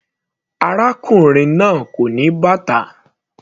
Arákùnrin náà kò ní bàtà.